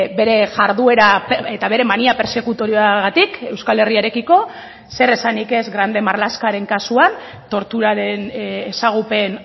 bere jarduera eta bere mania persekutoriagatik euskal herriarekiko zer esanik ez grande marlaskaren kasuan torturaren ezagupen